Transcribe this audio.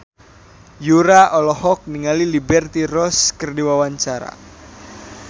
Yura olohok ningali Liberty Ross keur diwawancara